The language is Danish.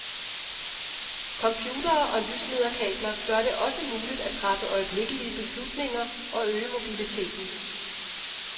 Computere og lyslederkabler gør det også muligt at træffe øjeblikke beslutninger og øge mobiliteten.